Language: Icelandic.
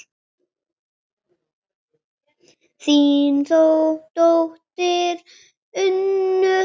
Þín dóttir, Unnur.